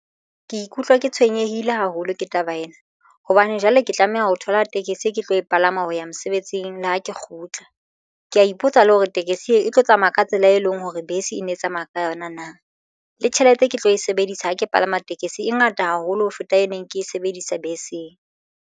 Ke ikutlwa ke tshwenyehile haholo ka taba ena. Hobane jwale ke tlameha ho thola tekesi e ke tlo e palama ho ya mosebetsing. Le ha ke kgutla ke ya ipotsa le hore tekesi e tlo tsamaya ka tsela e leng hore bese e ne e tsamaya ka yona na le tjhelete ke tlo e sebedisa ha ke palama tekesi e ngata haholo ho feta e neng ke e sebedisa beseng.